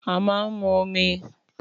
Àmá ń mú òmí.